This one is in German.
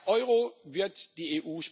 Der Euro wird die